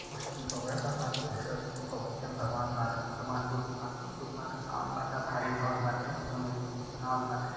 स्तूप हउऐभगवान बुद्ध के स्तूप हउए भगवान बाने भगवान बुध महातमा बुद्ध बाने आ बरका भारी घर बाटे ओइमें इ बनावल बाटे --